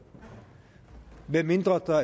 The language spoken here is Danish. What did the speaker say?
medmindre der